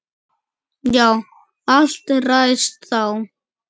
Já, allt ræðst þá.